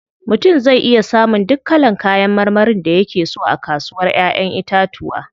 Mutum zai iya samun duk kalan kayan marmarin da yake so a kasuwar Ƴaƴan itatuwa.